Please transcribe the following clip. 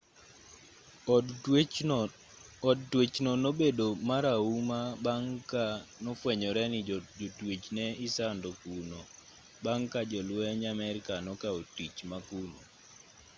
od twech no nobedo marahuma bang' ka nofwenyore ni jotwech ne isando kuno bang' ka jolwenj amerka nokao tich ma kuno